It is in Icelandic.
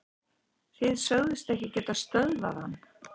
Þið sögðust ekki geta stöðvað hann